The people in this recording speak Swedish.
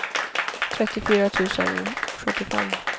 trettiofyra tusen sjuttiofem